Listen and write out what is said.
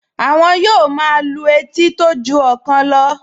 Àwọn yóò máa lu etí tó ju ọ̀kan lọ